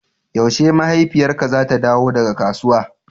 yaushe mahaifiyarka zata dawo daga kasuwa?